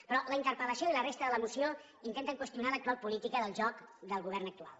però la interpel·lació i la resta de la moció intenten qüestionar l’actual política del joc del govern actual